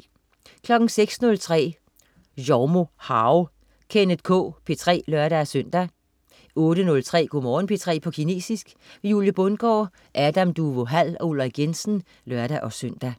06.03 Zhoumo hao. Kenneth K P3 (lør-søn) 08.03 Go' Morgen P3 på kinesisk. Julie Bundgaard, Adam Duvå Hall og UIrik Jensen (lør-søn)